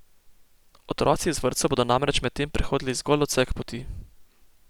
Otroci iz vrtcev bodo namreč medtem prehodili zgolj odsek poti.